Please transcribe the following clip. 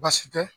Baasi tɛ